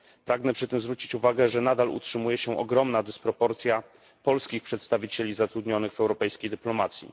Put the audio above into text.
Pragnę przy tym zwrócić uwagę, że nadal utrzymuje się ogromna dysproporcja polskich przedstawicieli zatrudnionych w europejskiej dyplomacji.